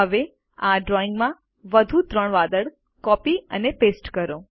હવે આ ડ્રોઈંગમાં ત્રણ વધુ વાદળો કોપી અને પેસ્ટ કરો